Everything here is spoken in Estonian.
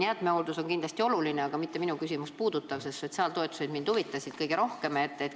Jäätmehooldus on kindlasti oluline, aga mitte minu küsimust puudutav, sest mind huvitasid kõige rohkem sotsiaaltoetused.